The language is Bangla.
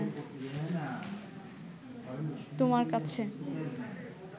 তোমার কাছে